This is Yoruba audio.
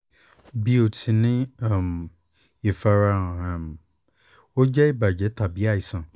bi o ti n ni um ifarahan um o jẹ ibajẹ tabi aisan